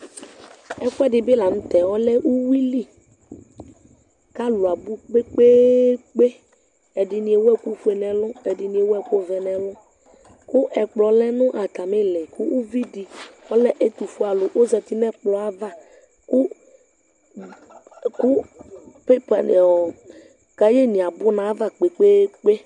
Ɛfʋɛdi bi lanʋtɛ uwili kʋ alʋ abʋ kpe kpe kpe ɛdini ewʋ ɛkʋfue nʋ ɛlʋ ɛdini ewʋ ɛkʋvɛ nʋ ɛlʋ kʋ ɛkplɔ lɛnʋ atami iili kʋ ʋvidi ɔlɛ ɛtʋfue alʋ ɔzati nʋ ɛkplɔ yɛ ava kʋ kaye ni abʋ nʋ ayava kpe kpe kpe